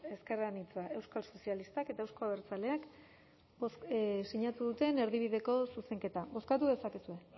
ezker anitza euskal sozialistak eta euzko abertzaleak sinatu duten erdibideko zuzenketa bozkatu dezakegu